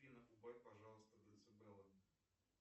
афина убавь пожалуйста децибелы